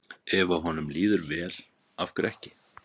Ef að honum líður vel, af hverju ekki?